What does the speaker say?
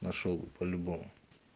нашёл по-любому